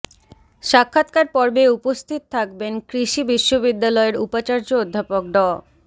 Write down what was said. সাক্ষাৎকার পর্বে উপস্থিত থাকবেন কৃষি বিশ্ববিদ্যালয়ের উপাচার্য অধ্যাপক ড